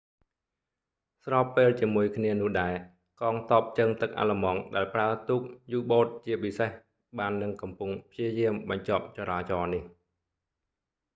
ស្របពេលជាមួយគ្នានោះដែរ កងទ័ពជើងទឹកអាល្លឺម៉ង់ដែលប្រើទូកយូបូតជាពិសេស បាននឹងកំពុងព្យាយាមបញ្ឈប់ចរាចរណ៍នេះ